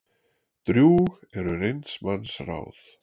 Drjúg eru reynds manns ráð.